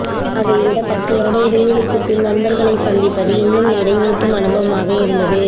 அதைவிட பத்துவருட இடைவெளிக்குப்பின் நண்பர்களைச் சந்திப்பது இன்னும் நிறைவூட்டும் அனுபவமாக இருந்தது